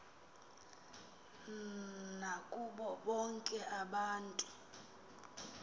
nakubo bonke abantu